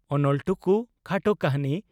"ᱚᱱᱚᱞ ᱴᱩᱠᱩ' (ᱠᱷᱟᱴᱚ ᱠᱟᱹᱦᱱᱤ)